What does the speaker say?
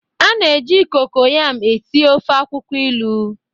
A na-eji kokoyam esi ofe akwukwo ilu.